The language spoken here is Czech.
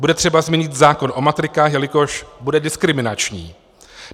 Bude třeba změnit zákon o matrikách, jelikož bude diskriminační.